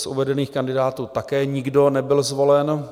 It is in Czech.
Z uvedených kandidátů také nikdo nebyl zvolen.